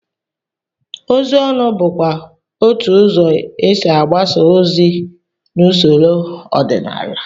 Ozi ọnụ bụkwa otú ụzọ e si agbasa ozi n'usoro ọdịnala